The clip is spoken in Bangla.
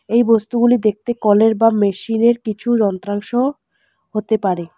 এই বস্তুগুলি দেখতে কলের বা মেশিনের কিছু যন্ত্রাংশ হতে পারে।